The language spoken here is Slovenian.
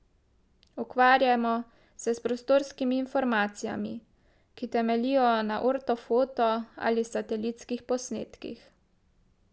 Ukvarjamo se s prostorskimi informacijami, ki temeljijo na ortofoto ali satelitskih posnetkih.